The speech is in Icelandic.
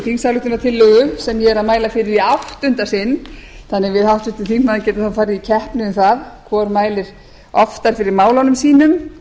þingsályktunartillögu sem ég er að mæla fyrir í áttunda sinn þannig að við háttvirtur þingmaður getum farið í keppni um það hvor mælir oftar fyrir málunum sínum